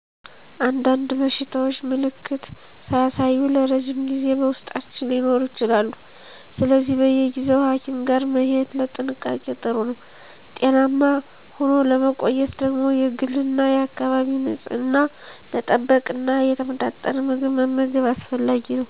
አንዳንድ በሽታዎች ምልክት ሳያሳዩ ለረዥም ጊዜ በውስጣችን ሊኖሩ ይችላሉ። ስለዚህ በየጊዜው ሀኪም ጋር መሄድ ለጥንቃቄ ጥሩ ነው። ጤናማ ሆኖ ለመቆየት ደግሞ የግልና የአካባቢን ንፅህና መጠበቅና የተመጣጠነ ምግብ መመገብ አስፈላጊ ነው።